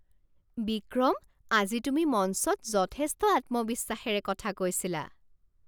বিক্ৰম! আজি তুমি মঞ্চত যথেষ্ট আত্মবিশ্বাসৰে কথা কৈছিলা!